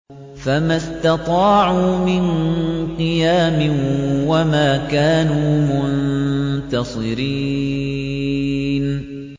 فَمَا اسْتَطَاعُوا مِن قِيَامٍ وَمَا كَانُوا مُنتَصِرِينَ